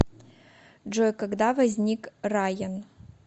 джой когда возник раен